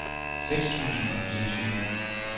seks tusind og fireogtyve